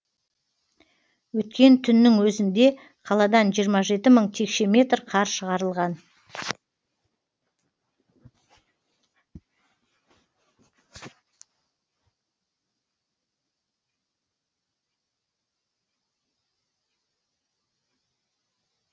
өткен түннің өзінде қаладан жиырма жеті мың текше метр қар шығарылған